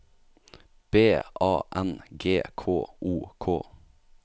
B A N G K O K